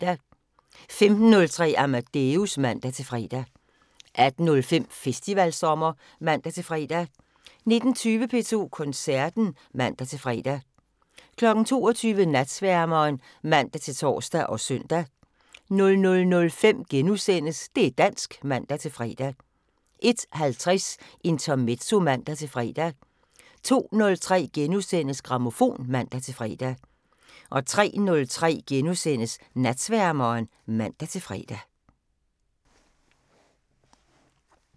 15:03: Amadeus (man-fre) 18:05: Festivalsommer (man-fre) 19:20: P2 Koncerten (man-fre) 22:00: Natsværmeren (man-tor og søn) 00:05: Det' dansk *(man-fre) 01:50: Intermezzo (man-fre) 02:03: Grammofon *(man-fre) 03:03: Natsværmeren *(man-fre)